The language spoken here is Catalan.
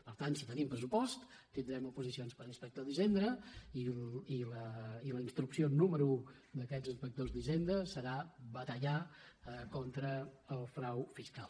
per tant si tenim pressupost tindrem oposicions per a inspec·tors d’hisenda i la instrucció número un d’aquests ins·pectors d’hisenda serà batallar contra el frau fiscal